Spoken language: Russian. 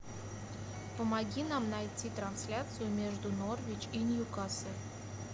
помоги нам найти трансляцию между норвич и ньюкасл